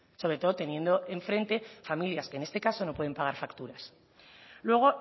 sobre todo teniendo enfrente familias que en este caso no pueden pagar facturas luego